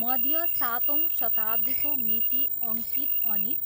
मध्य सातौँ शताब्दीको मिति अङ्कित अनि